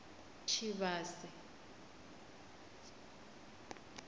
tshivhase